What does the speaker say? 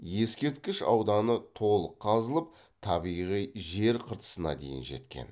ескерткіш ауданы толық қазылып табиғи жер қыртысына дейін жеткен